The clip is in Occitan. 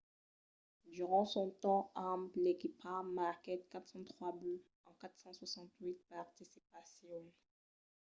durant son temps amb l'equipa marquèt 403 buts en 468 participacions